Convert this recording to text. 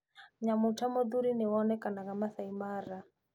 Nyamũ ta mũrũthi nĩwonekanaga Masai Mara